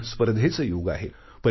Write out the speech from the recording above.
आज स्पर्धेचं युग आहे